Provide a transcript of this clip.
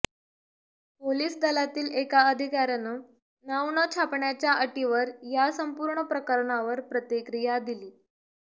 police दलातील एका अधिकाऱ्यानं नाव न छापण्याच्या अटीवर या संपूर्ण प्रकरणावर प्रतिक्रिया दिली